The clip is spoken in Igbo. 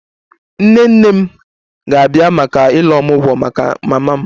Nne nne m ga-abịa maka 'Ile omugwo' maka mama m